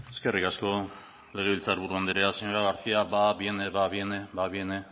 eskerrik asko legebiltzar buru andrea señora garcía va viene va viene va viene